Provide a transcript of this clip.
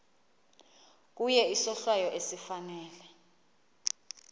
kuye isohlwayo esifanele